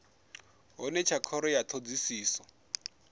hone tsha khoro ya thodisiso